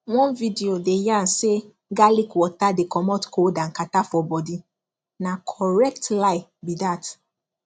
one video dey yarn say garlic water dey comot cold and catarrh for body na correct lie be dat